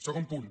segon punt